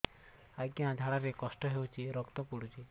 ଅଜ୍ଞା ଝାଡା ରେ କଷ୍ଟ ହଉଚି ରକ୍ତ ପଡୁଛି